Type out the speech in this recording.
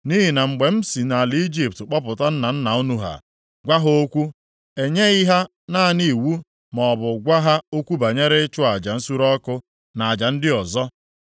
Nʼihi na mgbe m si nʼala Ijipt kpọpụta nna nna unu ha, gwa ha okwu, e nyeghị ha naanị iwu maọbụ gwa ha okwu banyere ịchụ aja nsure ọkụ na aja ndị ọzọ.